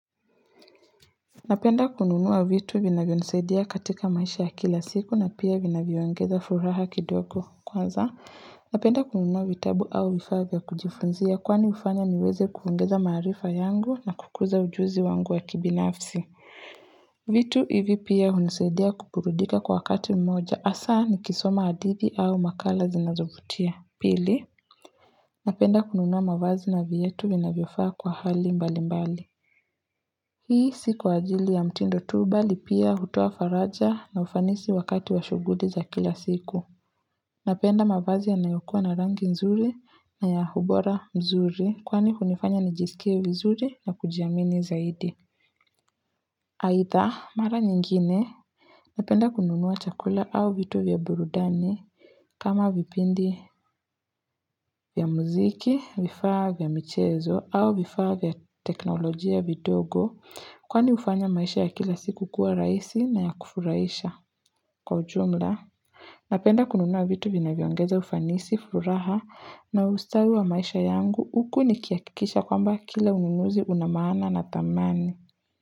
Napenda kununua vitu vinavyo nisaidia katika maisha ya kila siku na pia vinavyo ongeza furaha kidogo kwanza. Napenda kununua vitabu au vifaa vya kujifunzia kwani hufanya niweze kuongeza maarifa yangu na kukuza ujuzi wangu wa kibinafsi. Vitu hivi pia hunisaidia kuburudika kwa wakati mmoja haswa nikisoma hadithi au makala zinazovutia. Pili. Napenda kununua mavazi na viatu vinavyafaa kwa hali mbali mbali. Hii siku wajili ya mtindo tu bali pia hutoa faraja na ufanisi wakati wa shughuli za kila siku. Napenda mavazi ya nayokua na rangi nzuri na ya ubora nzuri kwani hunifanya nijisikie vizuri na kujiamini zaidi. Aidha mara nyingine napenda kununua chakula au vitu vya burudani kama vipindi vya muziki, vifaa vya michezo au vifaa vya teknolojia vidogo. Kwani hufanya maisha ya kila siku kua rahisi na ya kufurahisha kwa ujumla. Napenda kununua vitu vinavyo ongeza ufanisi, furaha na ustawi wa maisha yangu huku nikihakikisha kwamba kila ununuzi una maa na na dhamani.